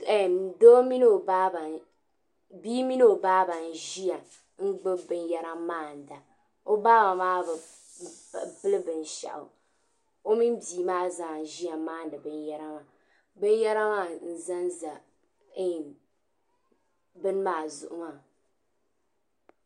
Bii mini ɔ baaba n ʒiya n gbubi bin yara n maa naɔ baaba maa bi pili bi nshaɣu, ɔ mini bii maa zaa n ʒiya n maa n di bin yara maa, bin yara maa n ʒan ʒɛ bini maa zuɣu maa.